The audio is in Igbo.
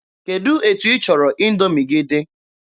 Kedụ etu ịchọrọ Indoomi gị?